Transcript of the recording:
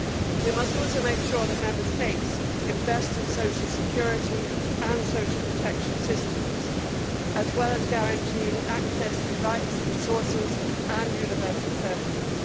We must also make sure that Member States invest in social security and social protection systems as well as guaranteeing access to rights, resources and universal services.